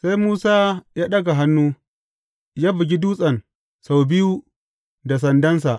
Sai Musa ya ɗaga hannu, ya bugi dutsen sau biyu da sandansa.